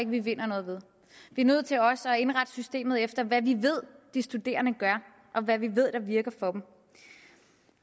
vi vinder noget ved vi er nødt til også at indrette systemet efter hvad vi ved de studerende gør og hvad vi ved der virker for dem